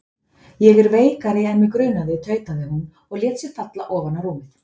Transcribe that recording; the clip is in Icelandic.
Ég er veikari en mig grunaði tautaði hún og lét sig falla ofan á rúmið.